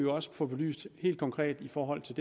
også få belyst helt konkret i forhold til